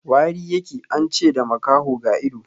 Wari ya ke, an ce da makaho ga ido.